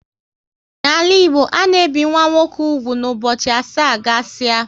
N'ala Igbo ana ebi nwa nwoke úgwù na ụbọchị asaa gasia